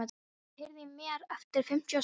Flóvent, heyrðu í mér eftir fimmtíu og sex mínútur.